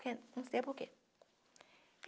Não sei por quê.